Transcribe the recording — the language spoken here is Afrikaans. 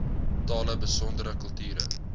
tale besondere kulture